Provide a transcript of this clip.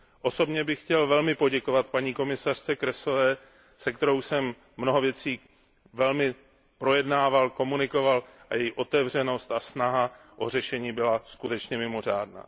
Osobně bych chtěl velmi poděkovat paní komisařce Kroesové, se kterou jsem mnoho věcí velmi projednával, komunikoval s ní a její otevřenost a snaha o řešení byla skutečně mimořádná.